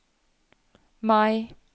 Mai